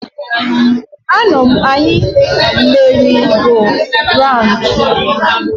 Anam-anya meri go raun.